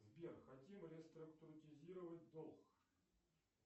сбер хотим реструктуризировать долг